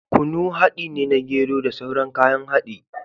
Kunu haɗi ne na gero da sauran kayan haɗi